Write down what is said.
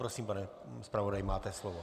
Prosím, pane zpravodaji, máte slovo.